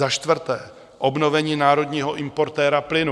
Za čtvrté, obnovení národního importéra plynu.